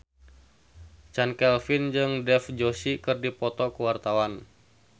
Chand Kelvin jeung Dev Joshi keur dipoto ku wartawan